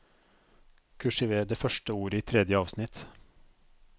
Kursiver det første ordet i tredje avsnitt